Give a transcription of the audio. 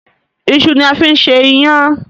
Iṣu ni a fi ń ṣe iyán.